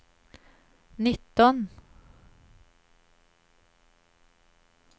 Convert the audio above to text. nitton